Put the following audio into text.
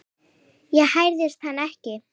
Ég hræðist hann ekki.